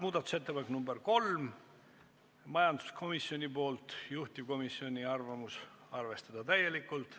Muudatusettepanek nr 3 on taas majanduskomisjonilt ja juhtivkomisjoni seisukoht on arvestada seda täielikult.